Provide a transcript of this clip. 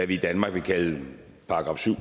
vi i danmark ville kalde § syv